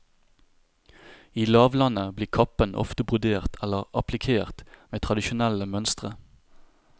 I lavlandet blir kappen ofte brodert eller applikert med tradisjonelle mønstre.